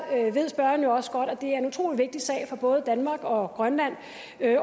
ved spørgeren jo også godt at det er en utrolig vigtig sag for både danmark og grønland